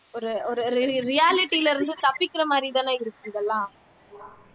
ஒரு ஒரு reality ல இருந்து தப்பிக்கிற மாதிரி தானே இருக்கு இதெல்லாம்